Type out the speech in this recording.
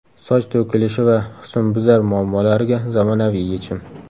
Soch to‘kilishi va husnbuzar muammolariga zamonaviy yechim!.